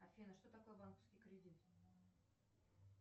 афина что такое банковский кредит